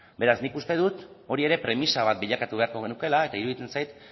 beraz nik uste dut hori ere premisa bat bilakatu beharko genukeela eta iruditzen zait